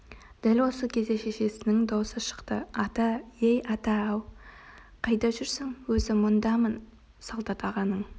дәл осы кезде шешесінің даусы шықты ата ей ата ау қайда жүр өзі мұндамын солдат ағаның